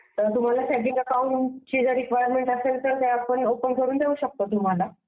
तर तुम्हाला static account ची गरज असेल तर आपण ते ओपन करून देऊ शकतो तुम्हाला.